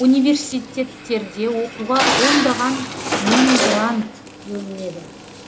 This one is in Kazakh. университеттерде оқуға ондаған мың грант бөлінеді